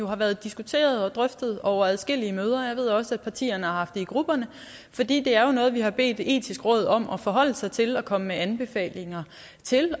har været diskuteret og drøftet over adskillige møder jeg ved også at partierne har haft det i grupperne fordi det er noget vi har bedt det etiske råd om at forholde sig til og komme med anbefalinger til